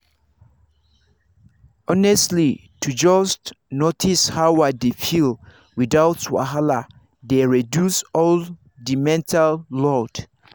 honestly to just notice how i dey feel without wahala dey reduce all the mental load.